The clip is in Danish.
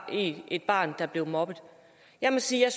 et barn der blev mobbet jeg må sige at